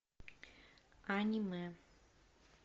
аниме